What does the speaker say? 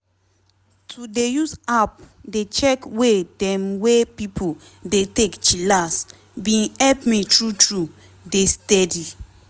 to dey use app dey check way dem weigh pipo dey take chillax bin help me true true dey steady.